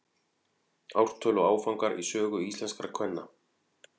ártöl og áfangar í sögu íslenskra kvenna